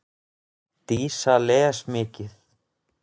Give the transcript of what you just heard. Dísa les mikið.